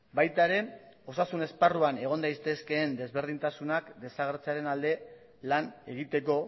baita ere osasun esparruan egon daitezkeen desberdintasunak desagertzearen alde lan egiteko